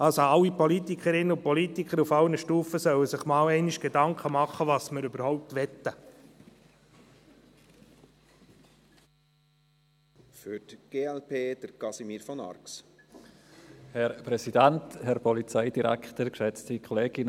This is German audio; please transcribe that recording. Also: Alle Politikerinnen und Politiker auf allen Stufen sollten sich einmal Gedanken machen, was wir überhaupt möchten.